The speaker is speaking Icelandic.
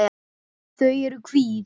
Þau eru hvít.